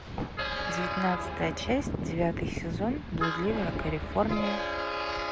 девятнадцатая часть девятый сезон блудливая калифорния